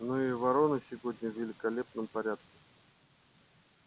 но и вороной сегодня в великолепном порядке